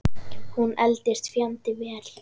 Hún eldist fjandi vel.